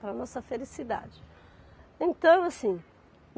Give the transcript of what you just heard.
Para a nossa felicidade, então assim.